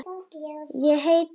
Ég heiti Gunnar og.